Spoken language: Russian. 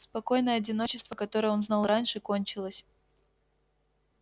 спокойное одиночество которое он знал раньше кончилось